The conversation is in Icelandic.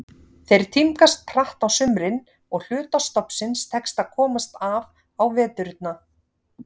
Þeir tímgast hratt á sumrin og hluta stofnsins tekst að komast af á veturna.